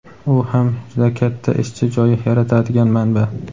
u ham juda katta ishchi joyi yaratadigan manba.